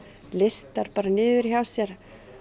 listar bara niður hjá sér